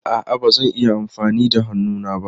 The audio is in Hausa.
A'a, ba zan yi amfani da hannuna ba.